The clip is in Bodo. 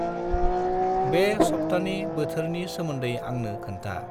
बे सबथानि बोथोरनि सोमोन्दै आंनो खोन्था्